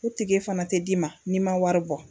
O tike fana tɛ d'i ma, n'i ma wari bɔ.